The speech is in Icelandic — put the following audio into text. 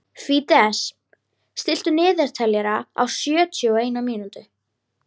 Fídes, stilltu niðurteljara á sjötíu og eina mínútur.